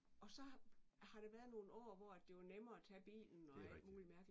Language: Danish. Og så har har der været nogle år hvor at det var nemmere at tage bilen og alt muligt mærkeligt